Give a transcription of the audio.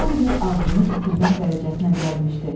Oliver ağlını itirmək dərəcəsinə gəlmişdi.